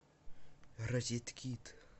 розеткид